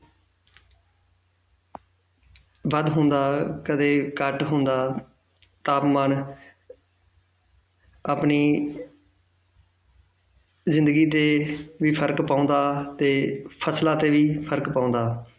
ਵੱਧ ਹੁੰਦਾ ਕਦੇ ਘੱਟ ਹੁੰਦਾ ਤਾਪਮਾਨ ਆਪਣੀ ਜ਼ਿੰਦਗੀ ਤੇ ਵੀ ਫ਼ਰਕ ਪਾਉਂਦਾ ਤੇ ਫ਼ਸਲਾਂ ਤੇ ਵੀ ਫ਼ਰਕ ਪਾਉਂਦਾ